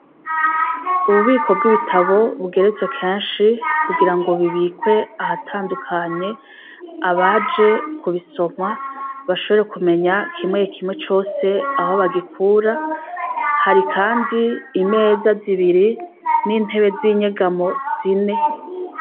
Ububiko bw'ibitabo bugeretswe kenshi kugira ngo bibikwe ahatandukanye abaje kubisoma bashobore kumenya kimwe kimwe cose aho bagikura, hari kandi imeza zibiri n'intebe z'inyegamo zine.